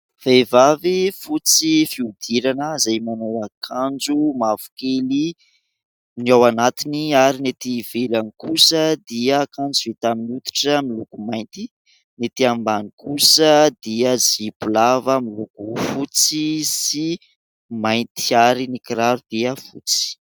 Vehivavy fotsy fihodirana, izay manao akanjo mavokely ny ao anatiny ary ny etỳ ivelany kosa dia akanjo vita amin'ny hoditra miloko mainty, ny etỳ ambany kosa dia zipo lava miloko fotsy sy mainty ary ny kiraro dia fotsy.